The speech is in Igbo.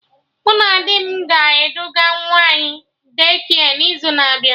Mụ na di m ga-eduga nwa anyị De-kia n'izu na-abịa